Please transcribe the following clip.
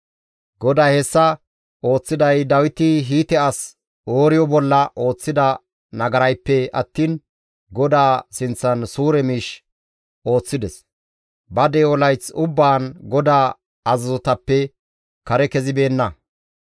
GODAY hessa ooththiday Dawiti Hiite as Ooriyo bolla ooththida nagarayppe attiin GODAA sinththan suure miish ooththides; ba de7o layth ubbaan GODAA azazotappe kare kezibeenna.